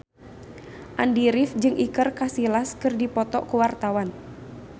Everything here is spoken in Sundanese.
Andy rif jeung Iker Casillas keur dipoto ku wartawan